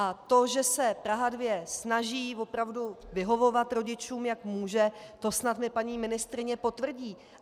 A to, že se Praha 2 snaží opravdu vyhovovat rodičům, jak může, to mi snad paní ministryně potvrdí.